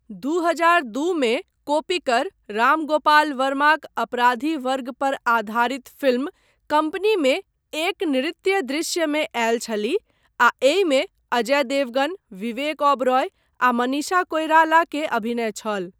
दू हजार दू मे कोप्पिकर राम गोपाल वर्माक अपराधी वर्ग पर आधारित फिल्म कम्पनीमे एक नृत्य दृश्यमे आयल छलीह आ एहिमे अजय देवगन, विवेक ओबेरॉय आ मनीषा कोइराला के अभिनय छल।